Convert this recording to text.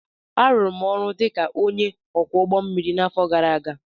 m rụrụ ọrụ dị ka onye ọkwọ ụgbọ mmiri n'afọ gara aga